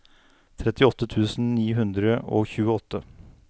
trettiåtte tusen ni hundre og tjueåtte